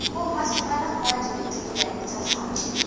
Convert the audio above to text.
bommasepala fa dimateriale tša hlahlo